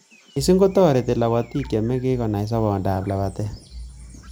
Missing kotoreti lapatik che mengech konai sobondoab lapatet